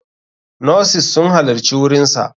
Nurses sun halarci wurinsa.